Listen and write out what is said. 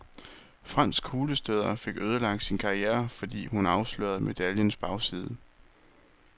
Fransk kuglestøder fik ødelagt sin karriere fordi hun afslørede medaljens bagside.